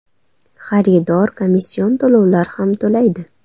Xaridor komission to‘lovlar ham to‘laydi.